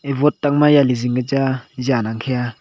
aye wote tangma jyale zingka chang a jang angkhe a.